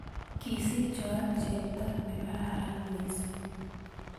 kisiich joan chepto nekaran mising